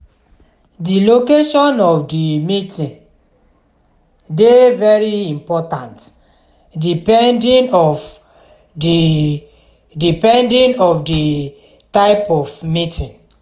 di location of di meeting dey very important depending of di depending of di type of meeting